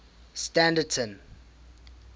standerton